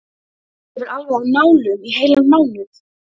Ég var alveg á nálum í heilan mánuð.